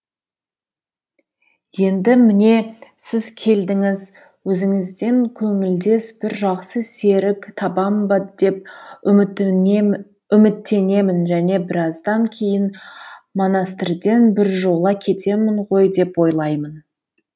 енді міне сіз келдіңіз өзіңізден көңілдес бір жақсы серік табам ба деп үміттенемін және біраздан кейін монастырден біржола кетемін ғой деп ойлаймын